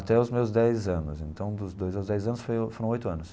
Até os meus dez anos, então dos dois aos dez anos foi foram oito anos.